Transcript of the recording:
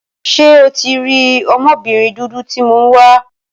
Ṣé o tí rí ọmọbìnrin dúdú tí mo ń wá